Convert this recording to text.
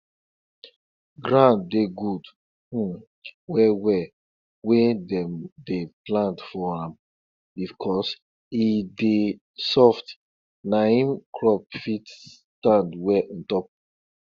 when better road dey make water pass e dey help make water no gada where dem dey comot milk from animal